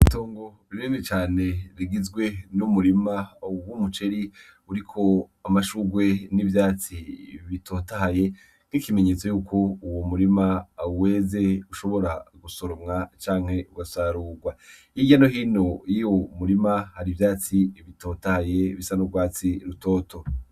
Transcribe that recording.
Tongu ririmi cane rigizwe n'umurima awuw' umuceri uriko amashugwe n'ivyatsi bitotaye nk'ikimenyetso yuko uwo murima awu weze ushobora gusoromwa canke ugasarurwa irya no hino iyo umurima hari ivyatsi bitotaye bisa n'ubwatsi rutoe uto.